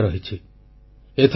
ମୋର ପ୍ରିୟ ଦେଶବାସୀଗଣ ନମସ୍କାର